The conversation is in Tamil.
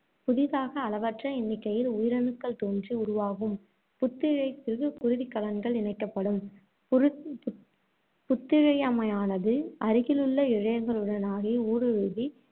புதிதாக அளவற்ற எண்ணிக்கையில் உயிரணுக்கள் தோன்றி உருவாகும் புத்திழையத்திற்குக் குருதிக் கலன்கள் இணைக்கப்படும். புத்திழையமானது அருகிலுள்ள இழையங்களினூடாக ஊடுருவி,